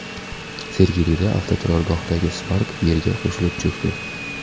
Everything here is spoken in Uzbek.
Sergelida avtoturargohdagi Spark yerga qo‘shilib cho‘kdi.